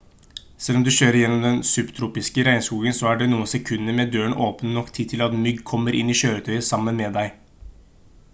selv om du kjører gjennom den subtropiske regnskogen så er noen sekunder med dørene åpne nok tid til at mygg kommer i kjøretøyet sammen med deg